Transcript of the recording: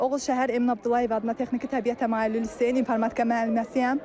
Oğuz şəhər Emin Abdullayev adına Texniki Təbiət Təmayüllü Liseyin İnformatika müəlliməsiyəm.